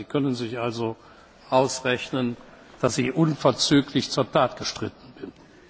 Sie können sich also ausrechnen, dass ich unverzüglich zur Tat geschritten